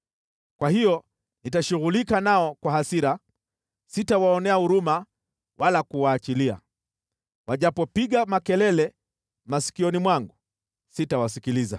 Kwa hiyo nitashughulika nao kwa hasira, sitawaonea huruma wala kuwaachilia. Wajapopiga makelele masikioni mwangu, sitawasikiliza.”